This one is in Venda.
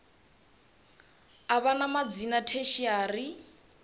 u vha na madzina tertiary